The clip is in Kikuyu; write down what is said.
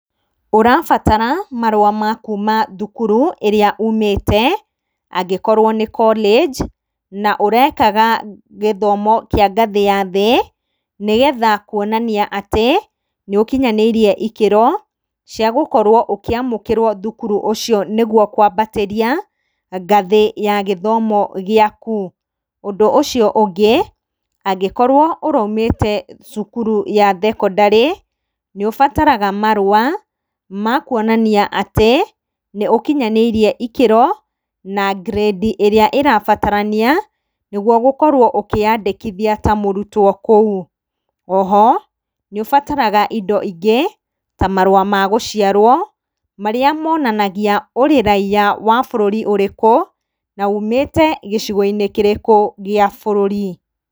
Ũrabatara marũa ma kuma thukuru ĩrĩa umĩte angĩkorwo nĩ college na ũrekaga gĩthomo kĩa ngathĩ ya thĩ, nĩgetha kuonania atĩ nĩ ũkinyanĩirie ikĩro cia gũkorwo ũkĩamũkĩrwo thukuru ũcio nĩguo kwambatĩria ngathĩ ya gĩthomo gĩaku. Ũndũ ũcio ũngĩ, angĩkorwo ũraumĩte cukuru ya thekondarĩ, nĩũbataraga marũa makuonania atĩ nĩũkinyanĩirie ikĩro na grade ĩrĩa ĩrabatarania, nĩguo gũkorwo ũkĩyandĩkithia ta mũrutwo kũu. Oho nĩũrabatara indo ingĩ ta marũa ma gũciarwo marĩa monanagia wĩ raiya wa bũrũri ũrĩkũ na ũũmĩte gĩcigo-inĩ kĩrĩkũ gĩa bũrũri.